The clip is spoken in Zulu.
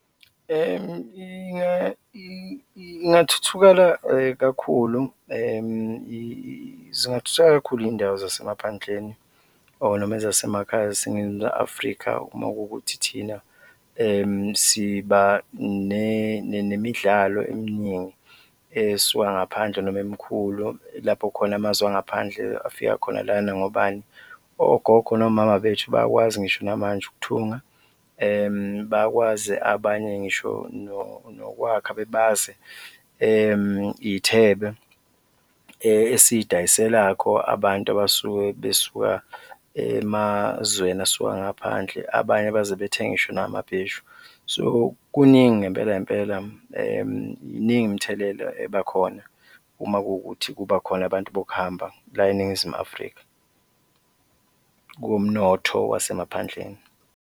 Ingathuthuka kakhulu zingathuthuka kakhulu iy'ndawo zasemaphandleni or noma ezasemakhaya eziseNingizimu Afrika uma kuwukuthi thina siba nemidlalo eminingi esuka ngaphandle noma emikhulu lapho khona amazwe angaphandle afika khona lana ngobani? Ogogo nomama bethu bayakwazi ngisho namanje ukuthunga, bayakwazi abanye ngisho nokwakha bebaze iy'thebe esiyidayiselakho abantu abasuke besuka emazweni asuka ngaphandle, abanye baze bethenge ngisho namabheshu. So kuningi ngempela ngempela iningi imithelela ebakhona uma kuwukuthi kuba khona abantu bokuhamba la eNingizimu Afrika kumnotho wasemaphandleni.